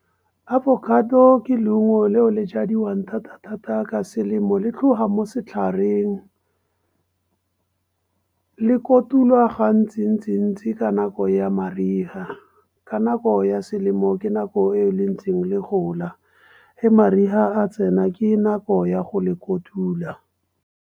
Avocado ke leungo leo le jadiwang thata-thata ka selemo le tlhoga mo setlhareng. Le kotulwa gantsi-ntsi-ntsi ka nako ya mariga. Ka nako ya selemo ke nako e le ntseng le gola. Ge mariga a tsena ke nako ya go le kotula.